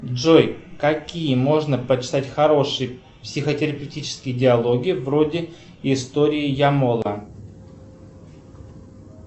джой какие можно почитать хорошие психотерапевтические диалоги вроде истории ямола